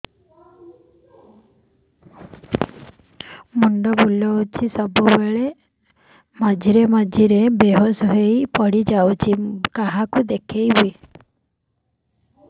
ମୁଣ୍ଡ ବୁଲାଉଛି ସବୁବେଳେ ମଝିରେ ମଝିରେ ବେହୋସ ହେଇ ପଡିଯାଉଛି କାହାକୁ ଦେଖେଇବି